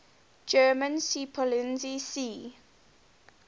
german seepolizei sea